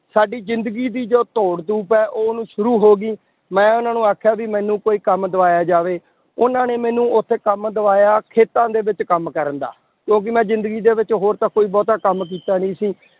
ਸਾਡੀ ਜ਼ਿੰਦਗੀ ਦੀ ਜੋ ਦੌੜ ਧੂਪ ਹੈ, ਉਹ ਨੂੰ ਸ਼ੁਰੂ ਹੋ ਗਈ, ਮੈਂ ਉਹਨਾਂ ਨੂੰ ਆਖਿਆ ਵੀ ਮੈਨੂੰ ਕੋਈ ਕੰਮ ਦਿਵਾਇਆ ਜਾਵੇ, ਉਹਨਾਂ ਨੇ ਮੈਨੂੰ ਉੱਥੇ ਕੰਮ ਦਿਵਾਇਆ, ਖੇਤਾਂ ਦੇ ਵਿੱਚ ਕੰਮ ਕਰਨ ਦਾ ਕਿਉਂਕਿ ਮੈਂ ਜ਼ਿੰਦਗੀ ਦੇ ਵਿੱਚ ਹੋਰ ਤਾਂ ਕੋਈ ਬਹੁਤਾ ਕੰਮ ਕੀਤਾ ਨੀ ਸੀ